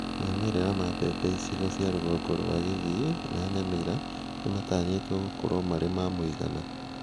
Maumĩrĩra ma mbembe icigo cia rũgongo rwa Kisii na Nyamira nĩmatanyĩtwo gũkorwo marĩ ma mũigana